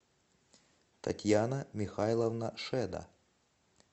татьяна михайловна шеда